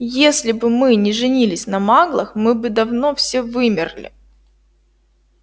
если бы мы не женились на маглах мы бы давно все вымерли